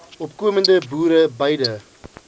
opkomende boere biede